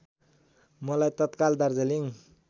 मलाई तत्काल दार्जिलिङ